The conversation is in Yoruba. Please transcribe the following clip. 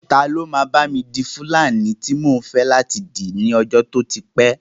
Ta ló máa bá mi di fúlàní tí mò ń fẹ́ láti dì ní ọjọ́ tó ti pẹ́